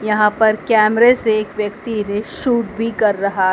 यहां पर कैमरे से एक व्यक्ति रील सूट भी कर रहा--